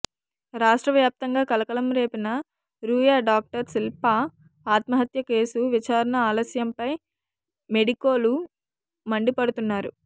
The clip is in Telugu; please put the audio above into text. రాష్ట్ర వ్యాప్తంగా కలకలం రేపిన రూయా డాక్టర్ శిల్ప ఆత్మహత్య కేసు విచారణ ఆలస్యంపై మెడికోలు మండిపడుతున్నారు